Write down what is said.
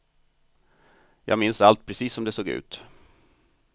Jag minns allt precis som det såg ut.